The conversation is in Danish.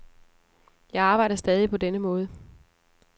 Jeg arbejder stadig på denne måde.